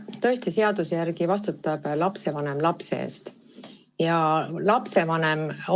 Tõesti, seaduse järgi vastutab lapse eest lapsevanem.